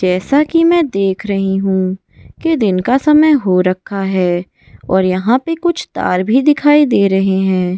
जैसा कि मैं देख रही हूं कि दिन का समय हो रखा है और यहां पर कुछ तार भी दिखाई दे रहे हैं।